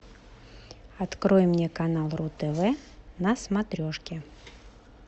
открой мне канал ру тв на смотрешке